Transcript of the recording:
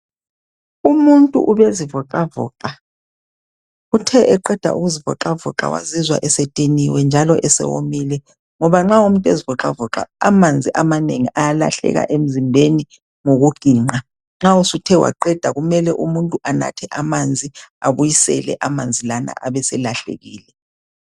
Umuntu ubezivoxavoxa, uthe eqeda ukuzivoxavoxa wazizwa esediniwe njalo esewomile ngoba nxa umuntu ezivixavoxa amanzi amanengi ayalahleka emzimbeni ngokuginqa. Nxa usuthethe waqeda kumele umuntu anathe amanzi abuyisele amanzi lana abeselahlekile.